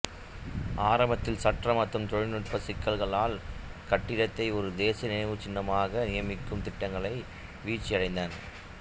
ஆரம்பத்தில் சட்ட மற்றும் தொழில்நுட்ப சிக்கல்களால் கட்டிடத்தை ஒரு தேசிய நினைவுச்சின்னமாக நியமிக்கும் திட்டங்கள் வீழ்ச்சியடைந்தன